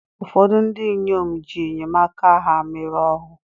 ụfọdụ ndị inyom ji enyemaka ha mere ohu